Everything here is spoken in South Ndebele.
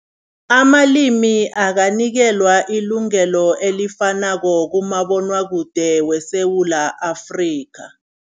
Amalimi akanikelwa ilungelo elifanako kumabonwakude weSewula Afrika.